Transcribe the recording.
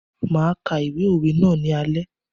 Máa ka ìwé òwe ná ní alé.